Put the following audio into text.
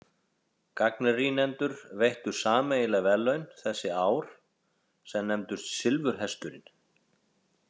Gagnrýnendur veittu sameiginleg verðlaun þessi ár, sem nefndust silfurhesturinn.